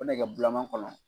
O nɛgɛ bulama kɔnɔ